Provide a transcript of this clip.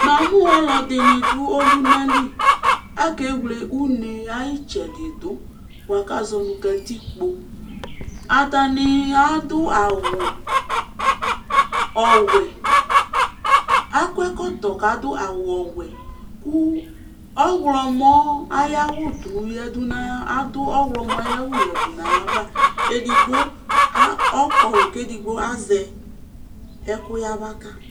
namu ɔludini du ɔlunali akɛyluɛ unɛdu buaka zɔnu katikpo atani adʊ ayʊ wɛ akʊ ɛkutɔ kadu awuyɛ ku ɔɣlɔmɔ ayawɔdu nu ayava ɛdigo kulu kazɛkuyabaka